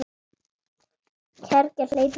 Kergja hleypur í mig.